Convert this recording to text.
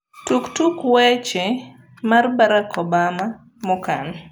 tuk tuk wech mar Barack Obama mokan